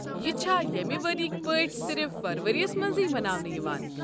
یہِ چھا ییٚمہِ ؤرِیکۍ پٲٹھۍصِرف فرؤرِیَس منٛزٕے مناونہٕ یِوان؟